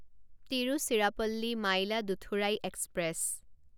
Tiruchirappalli Mayiladuthurai express